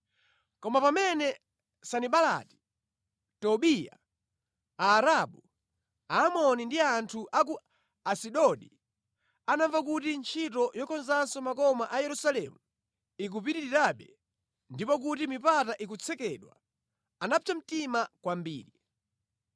Koma pamene Sanibalati, Tobiya, Aarabu, Aamoni ndi anthu a ku Asidodi anamva kuti ntchito yokonzanso makoma a Yerusalemu ikupitirirabe ndipo kuti mipata ikutsekedwa, anapsa mtima kwambiri.